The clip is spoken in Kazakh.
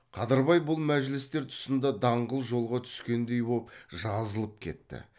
қадырбай бұл мәжілістер тұсында даңғыл жолға түскендей боп жазылып кетті